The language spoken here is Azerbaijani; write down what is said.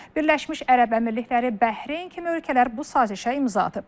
Birləşmiş Ərəb Əmirlikləri, Bəhreyn kimi ölkələr bu sazişə imza atıb.